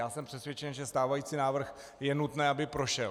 Já jsem přesvědčen, že stávající návrh - je nutné, aby prošel.